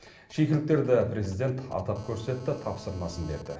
шикіліктерді президент атап көрсетті тапсырмасын берді